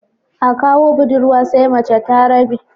A kawo budurwa sai mace ta rabe